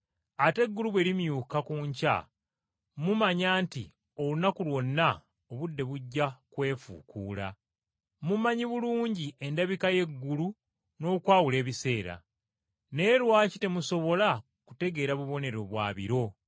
Ate eggulu bwe limyuka ku nkya mumanya nti olunaku lwonna obudde bujja kwefuukuula. Mumanyi bulungi endabika y’eggulu n’okwawula ebiseera, naye lwaki temusobola kutegeera bubonero bwa biro?